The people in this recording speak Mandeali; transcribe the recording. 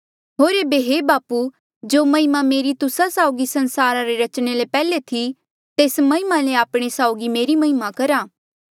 होर एेबे हे बापू जो महिमा मेरी तुस्सा साउगी संसारा रे रचणे ले पैहले थी तेस महिमा ले आपणे साउगी मेरी महिमा करहा